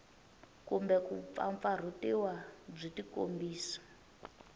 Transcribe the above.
kumbe ku mpfampfarhutiwa byi tikombisa